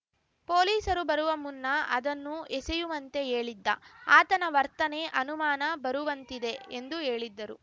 ಪೊಲೀಸರು ಬರುವ ಮುನ್ನ ಅದನ್ನು ಎಸೆಯುವಂತೆ ಹೇಳಿದ್ದ ಆತನ ವರ್ತನೆ ಅನುಮಾನ ಬರುವಂತಿದೆ ಎಂದು ಹೇಳಿದ್ದರು